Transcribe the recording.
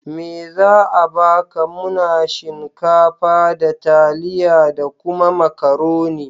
Me za a baka? Muna shinkafa, da taliya da kuma Makaroni.